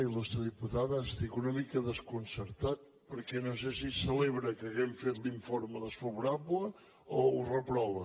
il·tada estic una mica desconcertat perquè no sé si celebra que hàgim fet l’informe desfavorable o ho reprova